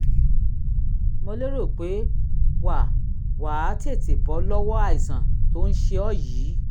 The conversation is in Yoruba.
mo lérò pé wà wà á tètè bọ́ lọ́wọ́ àìsàn tó ń ṣe ọ́ yìí